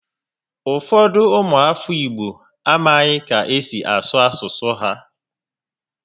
Ụfọdụ ụmụ afọ Igbo amaghị ka esi asụ asụsụ ha